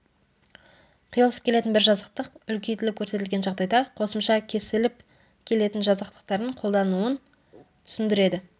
қиылысып келетін бір жазықтық үлкейтіліп көрсетілген жағдайда қосымша кесіліп келетін жазықтықтардың қолдануын түсіндіреді